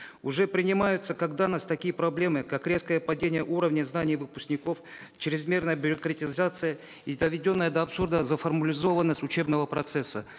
уже принимаются когда у нас такие проблемы как резкое падение уровня знаний выпускников чрезмерная бюрократизация и доведенная до абсурда заформализованность учебного процесса